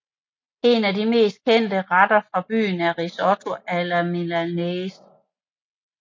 En af de mest kendte retter fra byen er risotto alla milanese